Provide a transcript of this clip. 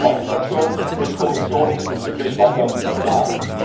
Meine Fraktion wird die Kommission diesbezüglich weiter verklagen.